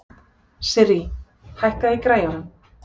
Sirrý, hækkaðu í græjunum.